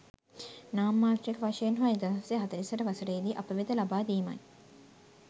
නාමමාත්‍රික වශයෙන් හෝ 1948 වසරේදි අප වෙත ලබා දීමයි.